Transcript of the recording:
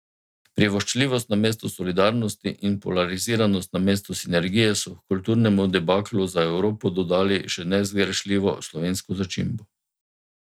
Privoščljivost namesto solidarnosti in polariziranost namesto sinergije so h kulturnemu debaklu za Evropo dodali še nezgrešljivo slovensko začimbo.